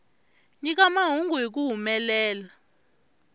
nyika mahungu hi ku humelela